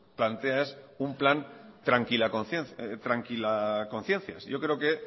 plantea es un plan tranquilaconciencias yo creo que